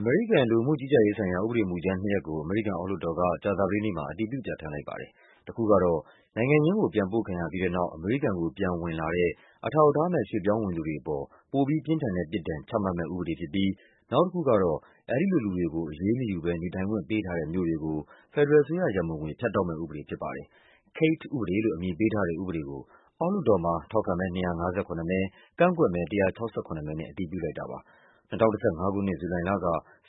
အမေရိကန် လူဝင်မှုကြီးကြပ်ရေးဆိုင်ရာ ဥပဒေမူကြမ်းနှစ်ရပ်ကို အမေရိကန်အောက် လွှတ်တော်က ကြာသပတေးနေ့မှာ အတည် ပြု ပြဌာန်းလိုက်ပါတယ်။ တခုကတော့ နိုင်ငံရင်းကို ပြန်ပို့ခံရပြီးတဲ့နောက် အမေရိကန်ကိုပြန်ဝင်လာတဲ့ အထောက်အထားမဲ့ ရွှေ့ပြောင်းဝင်သူတွေအပေါ် ပိုပြီးပြင်းထန်တဲ့ပြစ်ဒဏ် ချမှတ်မယ့်ဥပဒေဖြစ်ပြီး နောက်တခုကတော့ အဲဒီလိုလူတွေကို အရေးမယူ ဘဲ နေထိုင်ခွင့်ပေးထားတဲ့ မြို့တွေကို ဖက်ဒရယ်အစိုးရရန်ပုံငွေ ဖြတ်တောက်မယ့်ဥပဒေဖြစ်ပါတယ်။ Kate ဥပဒေလို့ အမည်ပေးထားတဲ့ဥပဒေကို အောက်လွှတ်တော်မှာ ထောက်ခံမဲ ၂၅၇ မဲ၊ ကန့်ကွက်မဲ ၁၆၇ မဲနဲ့ အတည်ပြုလိုက် တာပါ။ ၂၀၁၅ ခုနှစ်၊ ဇူလိုင်လက